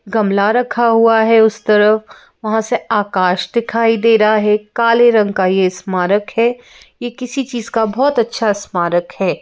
गमला रखा हुआ है उस तरफ वहाँ से आकाश दिखाई दे रहा है काले रंग का यह स्मारक है यह किसी चीज का बहुत अच्छा स्मारक है।